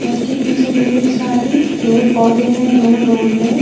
उसके पीछे ढेर सारे पेड़ पौधे हैं दूर दूर में।